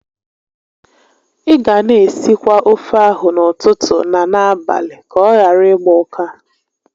Ị ga na esikwa ofe ahụ n'ụtụtụ na n'abalị ka ọ ghara ịgba ụka